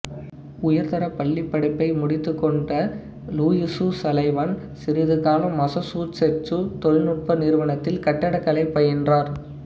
உயர்தரப் பள்ளிப் படிப்பை முடித்துக்கொண்ட லூயிசு சலிவன் சிறிது காலம் மசச்சூசெட்சு தொழில்நுட்ப நிறுவனத்தில் கட்டிடக்கலை பயின்றார்